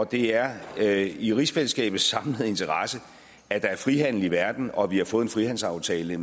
det er er i rigsfællesskabets samlede interesse at der er frihandel i verden og at vi har fået en frihandelsaftale